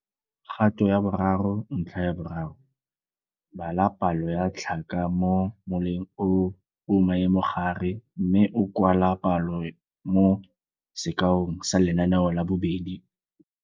Kgato ya 3.3 - Bala palo ya tlhaka mo moleng o o maemogare mme o kwala palo mo sekaong sa Lenaneo la 2.